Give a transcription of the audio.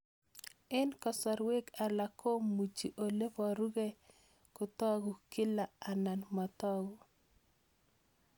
Eng' kasarwek alak komuchi ole parukei kotag'u kila anan matag'u